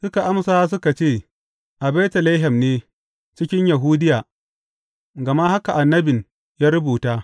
Suka amsa suka ce, A Betlehem ne, cikin Yahudiya, gama haka annabin ya rubuta.